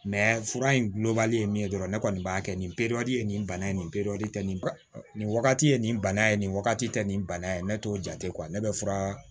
fura in gulonbali ye min ye dɔrɔn ne kɔni b'a kɛ nin ye nin bana in ye nin nin wagati ye nin bana ye nin wagati tɛ nin bana ye ne t'o jate ne bɛ fura